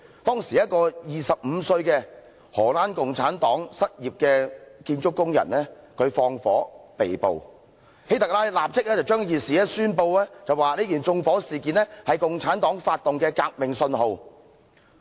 當時一個25歲的荷蘭共產黨失業建築工人縱火被捕，希特拉立即宣布此縱火案為共產黨發動革命的信號。